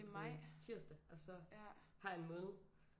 På tirsdag og så har jeg en måned